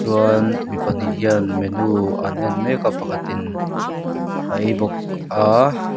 chuan mi pahnih hian menu an en mek a pakhatin a ei bawk a.